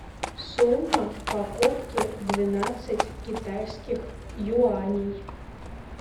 сумма покупки двенадцать китайских юаней